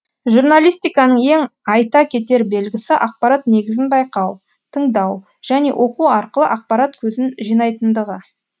журналистиканың ең айта кетер белгісі ақпарат негізін байқау тыңдау және оқу арқылы ақпарат көзін жинайтындығы